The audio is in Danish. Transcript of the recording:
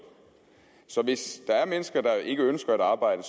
så hvis der er mennesker der ikke ønsker at arbejde